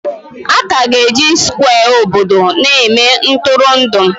Aka ga-eji Skwe obodo na-eme Ntụrụndụ